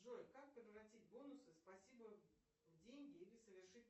джой как превратить бонусы спасибо в деньги или совершить